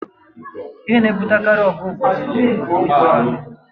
Ihe na-ebutekarị ọgụ obodo na obodo bụ ịzọ ala